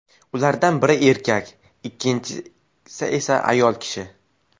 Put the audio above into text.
Ulardan biri erkak, ikkinchi esa ayol kishi.